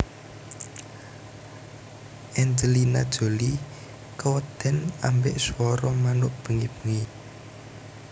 Angelina Jolie keweden ambek swara manuk bengi bengi